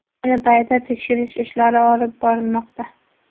Ayni paytda tekshirish ishlari olib borilmoqda.